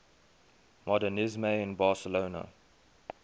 modernisme in barcelona